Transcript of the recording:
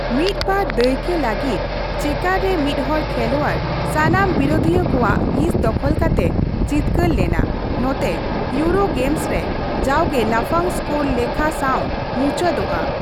ᱢᱤᱫ ᱵᱟᱨ ᱫᱟᱹᱭᱠᱟᱹ ᱞᱟᱹᱜᱤᱫᱺ ᱪᱮᱠᱟᱨ ᱨᱮ ᱢᱤᱫᱦᱚᱲ ᱠᱷᱮᱞᱚᱣᱟᱲ ᱥᱟᱱᱟᱢ ᱵᱤᱨᱩᱫᱷᱤᱭᱟᱹ ᱠᱚᱣᱟᱜ ᱦᱤᱸᱥ ᱫᱚᱠᱷᱚᱞ ᱠᱟᱛᱮ ᱡᱤᱛᱠᱟᱹᱨ ᱞᱮᱱᱟ ᱱᱚᱛᱮ ᱤᱭᱩᱨᱳ ᱜᱮᱢᱥ ᱨᱮ ᱡᱟᱣᱜᱮ ᱞᱟᱯᱷᱟᱝ ᱥᱠᱳᱨ ᱞᱮᱠᱷᱟ ᱥᱟᱶ ᱢᱩᱪᱟᱹᱫᱚᱜᱼᱟ ᱾